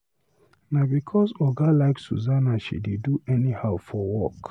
Na because Oga like Susanna, she dey do anyhow for work.